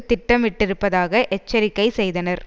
திட்டமிட்டிருப்பதாக எச்சரிக்கை செய்தனர்